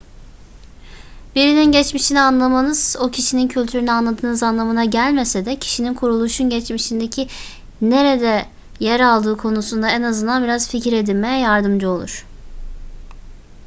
birinin geçmişini anlamanız o kişinin kültürünü anladığınız anlamına gelmese de kişinin kuruluşun geçmişindeki nerede yer aldığı konusunda en azından biraz fikir edinmeye yardımcı olur